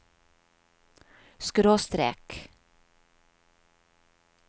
skråstrek